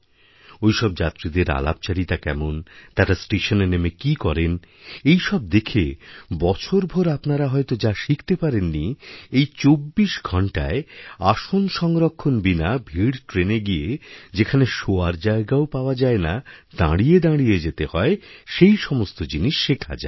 ওইসব যাত্রীদের আলাপচারিতা কেমনতারা স্টেশনে নেমে কী করেন এইসব দেখে বছরভোর আপনারা হয়ত যা শিখতে পারেননি এই ২৪ঘণ্টায় আসন সংরক্ষণ বিনা ভিড় ট্রেনে গিয়ে যেখানে শোয়ার জায়গাও পাওয়া যায় নাদাঁড়িয়ে দাঁড়িয়ে যেতে হয় সেই সমস্ত জিনিস শেখা যায়